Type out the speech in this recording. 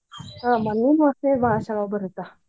ಮಣ್ಣಿನ ವಾಸನಿ ಬಾಳ್ ಚುಲೊ ಬರತ್ತ್.